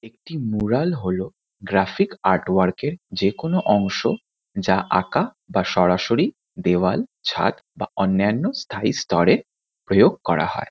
একটি মোরাল হলো graphic art work -এর যেকোনো অংশ যা আঁকা বা সরাসরি দেওয়াল ছাদ বা অন্যান্য স্থায়ী স্তরে প্রয়োগ করা হয়।